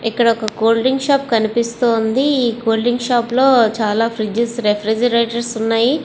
ఇక్కడ ఒక cool drink shop కనిపిస్తూ వున్నది ఈ కూల్ డ్రింక్ షాప్ లో చాల ఫ్రిద్గేస్ రేఫిరేగేరతోర్స్ వున్నాయ్.